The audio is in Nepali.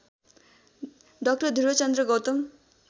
डा ध्रुवचन्द्र गौतम